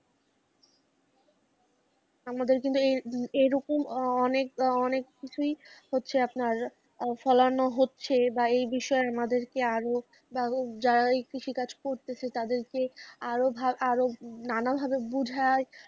আমাদের কিন্তু এ~এরকম অনেক অনেক কিছুই হচ্ছে আপনার ফলানো হচ্ছে বা এই বিষয়ে আমাদেরকে আরো বা যারা এই কৃষি কাজ করতেছে তাদেরকে আরোভা আরো নানা ভাবে বুঝায়,